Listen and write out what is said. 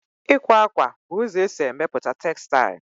Ịkwa akwa bụ ụzọ e si emepụta textile